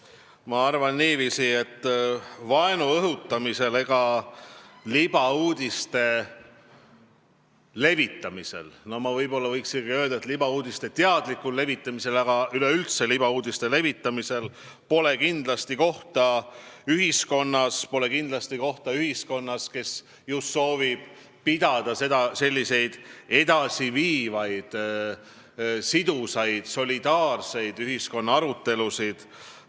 Mina arvan niiviisi, et vaenu õhutamisel ega libauudiste levitamisel, ma võiksin ka öelda, et libauudiste teadlikul levitamisel, üleüldse libauudiste levitamisel pole kindlasti kohta ühiskonnas, kus soovitakse pidada edasiviivaid, sidusaid, solidaarseid ühiskondlikke arutelusid.